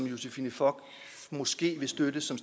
josephine fock måske vil støtte som